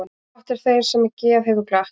Gott er þeim sem geð hefur glatt.